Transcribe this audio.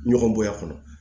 Ɲɔgɔn bonya kɔnɔ